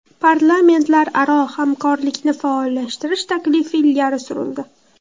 Parlamentlararo hamkorlikni faollashtirish taklifi ilgari surildi.